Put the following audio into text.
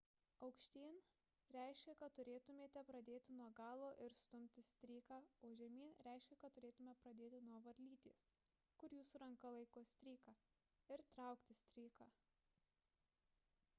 aukštyn reiškia kad turėtumėte pradėti nuo galo ir stumti stryką o žemyn reiškia kad turėtumėte pradėti nuo varlytės kur jūsų ranka laiko stryką ir traukti stryką